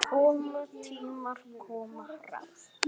Koma tímar, koma ráð.